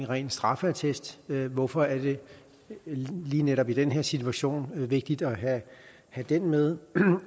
ren straffeattest hvorfor er det lige netop i den her situation vigtigt at have den med